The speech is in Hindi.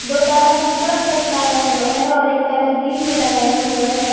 दो ताला सिक्कड़ में लटकाया हुआ है और एक ताला ग्रिल में लगाया हुआ है।